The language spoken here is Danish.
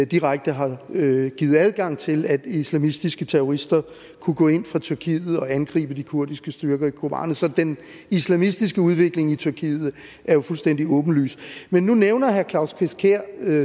direkte har givet givet adgang til at islamistiske terrorister kunne gå ind fra tyrkiet og angribe de kurdiske styrker i kobane så den islamistiske udvikling i tyrkiet er jo fuldstændig åbenlys men nu nævner herre claus kvist kjær